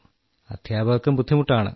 അദ്ധ്യാപകർക്കും ബുദ്ധിമുട്ടാണ്